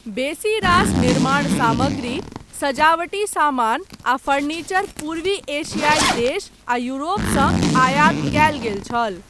बेसी रास निर्माण सामग्री, सजावटी समान आ फर्नीचर पूर्वी एशियाई देश आ यूरोप सँ आयात कयल गेल छल।